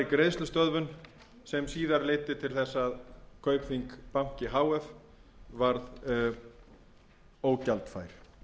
í greiðslustöðvun sem síðar leiddi til þess að kaupþing banki h f varð ógjaldfær